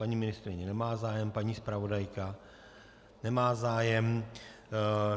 Paní ministryně nemá zájem, paní zpravodajka nemá zájem.